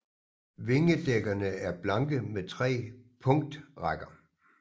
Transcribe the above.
Vingedækkerne er blanke med tre punktrækker